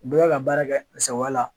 Bɛɛ bɛ ka baara kɛ a sagoyala la.